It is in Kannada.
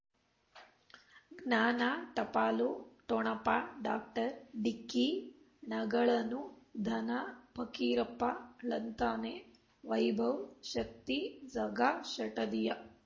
ಜ್ಞಾನ ಟಪಾಲು ಠೊಣಪ ಡಾಕ್ಟರ್ ಢಿಕ್ಕಿ ಣಗಳನು ಧನ ಪಕೀರಪ್ಪ ಳಂತಾನೆ ವೈಭವ್ ಶಕ್ತಿ ಝಗಾ ಷಟದಿಯ